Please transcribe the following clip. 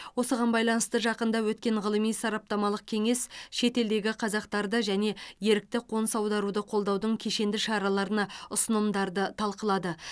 осыған байланысты жақында өткен ғылыми сараптамалық кеңес шетелдегі қазақтарды және ерікті қоныс аударуды қолдаудың кешенді шараларына ұсынымдарды талқылады